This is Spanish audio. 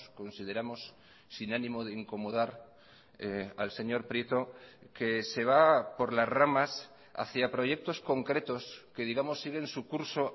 consideramos sin ánimo de incomodar al señor prieto que se va por las ramas hacia proyectos concretos que digamos siguen su curso